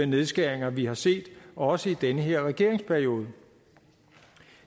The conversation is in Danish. nedskæringer vi har set også i den her regeringsperiode